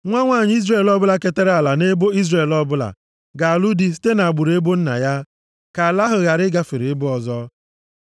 Nwa nwanyị Izrel ọbụla ketara ala nʼebo Izrel ọ bụla ga-alụ di site nʼagbụrụ ebo nna ya. Ka ala ha ghara ịgafere ebo ọzọ.